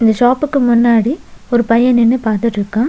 இந்த ஷாப்புக்கு முன்னாடி ஒரு பைய நின்னு பாத்துட்ருக்கா.